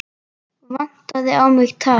Vantaði á mig tær?